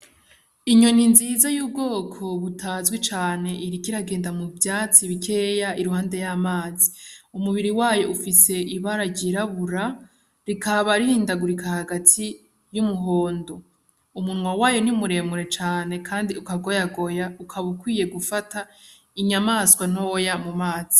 Inyoni nziza y'ubwoko butazwi cane iriko iragenda mu vyatsi bikeya iruhande y'amazi. Umubiri wayo ufise ibara ryirabura, rikaba rihindagurika hagati y'umuhondo. Umunwa wayo ni muremure cane kandi ukagoyagoya ukaba ukwiye gufata inyamaswa ntoya mu mazi.